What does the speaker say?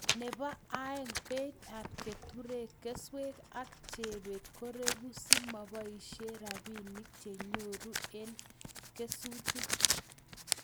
Nebo aeng ,beit ab keturek, keswek ak jebet ko regu si moboishe rabinik che nyoru eng' kesutik